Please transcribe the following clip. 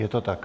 Je to tak?